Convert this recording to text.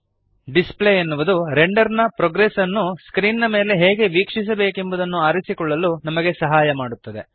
display ಎನ್ನುವುದು render ನ progress ಅನ್ನು ಸ್ಕ್ರೀನ್ ಮೇಲೆ ಹೇಗೆ ವೀಕ್ಷಿಸಬೇಕೆಂಬುದನ್ನು ಆರಿಸಿಕೊಳ್ಳಲು ನಮಗೆ ಸಹಾಯ ಮಾಡುತ್ತದೆ